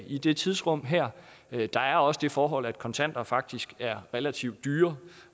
i det tidsrum her der er også det forhold at kontanter faktisk er relativt dyrere